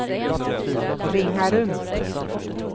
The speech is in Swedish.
Ringarum